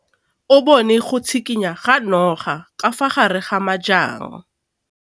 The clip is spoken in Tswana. O bone go tshikinya ga noga ka fa gare ga majang.